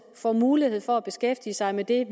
får mulighed for at beskæftige sig med det